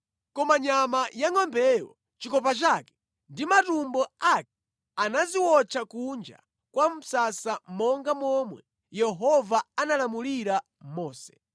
Koma nyama yangʼombeyo, chikopa chake ndi matumbo ake anaziwotcha kunja kwa msasa monga momwe Yehova analamulira Mose.